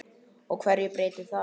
Og hverju breytir það?